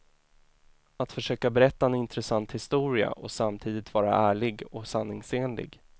Att försöka berätta en intressant historia och samtidigt vara ärlig och sanningsenlig.